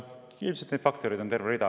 Ilmselt on neid faktoreid terve rida.